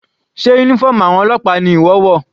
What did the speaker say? Sé uniform àwọn ọlọ́pàá ni ìwọ wọ̀?